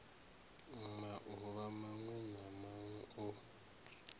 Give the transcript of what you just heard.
mauvha mawe na mawe o